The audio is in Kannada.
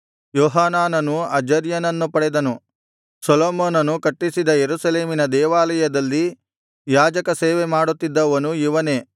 ಯೋಹಾನಾನನು ಅಜರ್ಯನನ್ನು ಪಡೆದನು ಸೊಲೊಮೋನನು ಕಟ್ಟಿಸಿದ ಯೆರೂಸಲೇಮಿನ ದೇವಾಲಯದಲ್ಲಿ ಯಾಜಕ ಸೇವೆ ಮಾಡುತ್ತಿದ್ದವನು ಇವನೇ